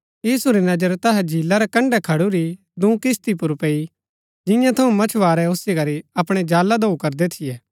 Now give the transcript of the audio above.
यीशु री नजर तैहा झीला रै कण्ड़ै खडूरी दूँ किस्ती पुर पैई जिंआं थऊँ मच्‍छवारै ओसी करी अपणै जाला धोऊ करदै थियै